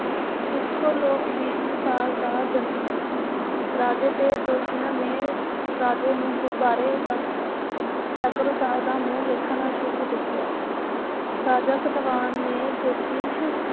ਕੁੱਖੋਂ ਲੋਕਵੀਰ ਦੁਸਾਲ ਦਾ ਜਨਮ ਹੋਇਆ। ਰਾਜੇ ਤੇ ਦੋਸ਼ੀਆ ਨੇ ਰਾਜੇ ਨੂੰ ਗੁਬਾਰੇ ਤਕ ਤਕਰਸਾਲ ਦਾ ਮੂੰਹ ਵੇਖਣਾ ਸ਼ੁਭ ਦੱਸਿਆ। ਰਾਜਾ ਸਲਵਾਨ ਨੇ ਜੋਤਿਸ਼